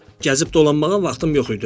Gəzib dolanmağa vaxtım yox idi.